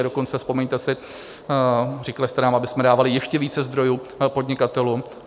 A dokonce, vzpomeňte si, říkali jste nám, abychom dávali ještě více zdrojů podnikatelům.